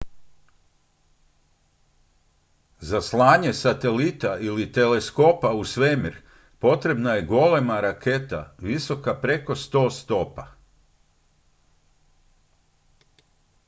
za slanje satelita ili teleskopa u svemir potrebna je golema raketa visoka preko 100 stopa